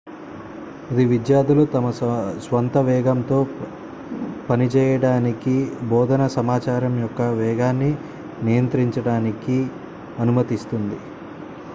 ఇది విద్యార్థులు తమ స్వంత వేగంతో పనిచేయడానికి బోధనా సమాచారం యొక్క వేగాన్ని నియంత్రించడానికి అనుమతిస్తుంది